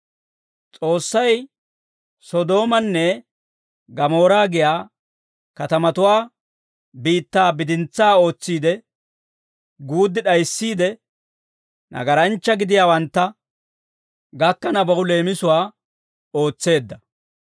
S'oossay Sodoomaanne Gamoora giyaa katamatuwaa biittaa bidintsaa ootsiide, guuddi d'ayissiide, nagaranchcha gidiyaawantta gakkanabaw leemisuwaa ootseedda.